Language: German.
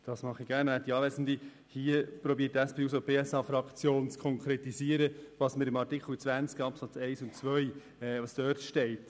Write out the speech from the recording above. Die SP-JUSO-PSA-Fraktion versucht mit ihrem Antrag zu konkretisieren, was in Artikel 20 Absatz 1 und 2 steht.